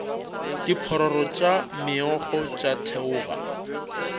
diphororo tša meokgo tša theoga